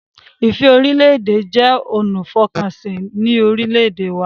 Ìfẹ́-orílẹ̀-èdè jẹ́ ọ̀nà ìfọkànsìn si orílẹ̀-èdè wa